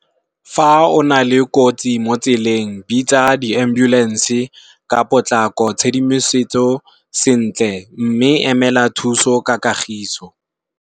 Fa o na le kotsi mo tseleng bitsa di ambulance ka potlako tshedimosetso sentle mme emela thuso ka kagiso.